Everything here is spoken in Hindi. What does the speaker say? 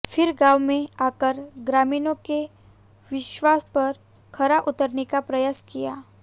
फिर गांव में आकर ग्रामीणों के विश्वास पर खरा उतरने का प्रयास किया